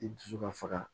I dusu ka faga